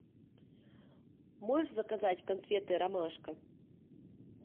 можешь заказать конфеты ромашка